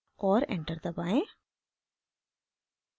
और enter दबाएं